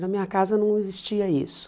Na minha casa não existia isso.